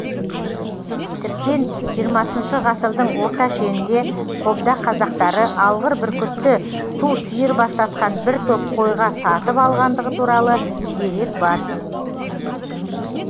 тіптен жиырмасыншы ғасыр орта шенінде қобда қазақтары алғыр бүркітті ту сиыр бастатқан бір топ қойға сатып алғандығы туралы дерек бар